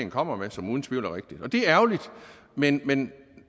kommer med og som uden tvivl er rigtige det er ærgerligt men men